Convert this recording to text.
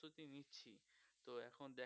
কবে